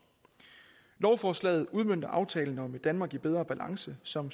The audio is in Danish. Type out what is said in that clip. lovforslaget udmønter aftalen om et danmark i bedre balance som